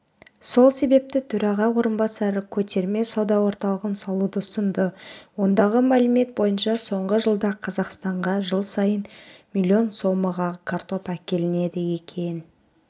сол себепті төраға орынбасары көтерме-сауда орталығын салуды ұсынды ондағы мәліет бойынша соңғы жылда қазақстанға жыл сайын млн сомаға картоп әкелінеді екен